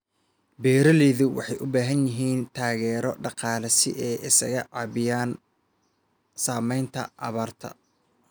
Beeraleydu waxay u baahan yihiin taageero dhaqaale si ay isaga caabiyaan saamaynta abaarta.